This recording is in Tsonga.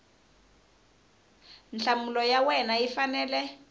nhlamulo ya wena yi fanele